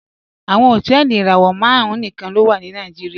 Awọn hotẹẹli irawọ màrùn níkan ló wà ní Nàìjíríà